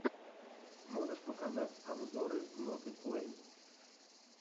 можешь показать обзоры ноты плей